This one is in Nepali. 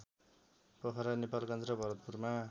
पोखरा नेपालगन्ज र भरतपुरमा